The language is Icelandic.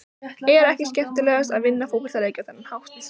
Er ekki skemmtilegast að vinna fótboltaleiki á þennan hátt?